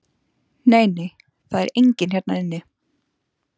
Nei, nei, það er enginn hérna inni.